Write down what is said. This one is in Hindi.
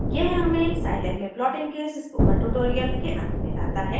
यह हमें साइलैब में प्लॉटिंग के इस स्पोकन ट्यूटोरियल के अंत में लाता है